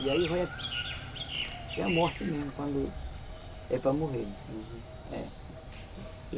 E aí vai até a morte mesmo, quando é para morrer, né? Uhum. É.